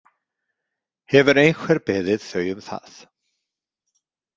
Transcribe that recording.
Hefur einhver beðið þau um það?